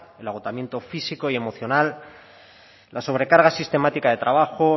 el agotamiento físico y emocional la sobrecarga sistemática de trabajo